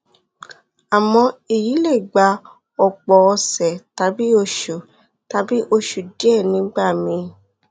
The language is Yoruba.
àmọ èyí lè gba ọpọ ọsẹ tàbí oṣù tàbí oṣù díẹ nígbà míì